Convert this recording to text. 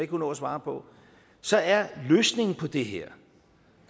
kunne nå at svare på så er løsningen på det her